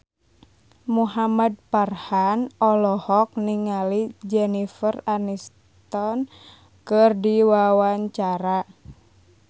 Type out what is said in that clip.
Muhamad Farhan olohok ningali Jennifer Aniston keur diwawancara